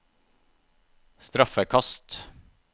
straffekast